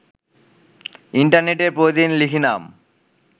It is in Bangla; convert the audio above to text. ইন্টারনেটে প্রতিদিন লিখি নাম